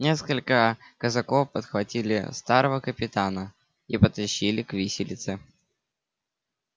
несколько казаков подхватили старого капитана и потащили к виселице